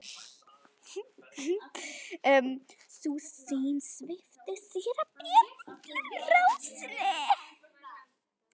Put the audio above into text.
Sú sýn svipti síra Björn allri ró sinni.